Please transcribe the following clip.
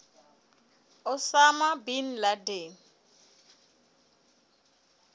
osama bin laden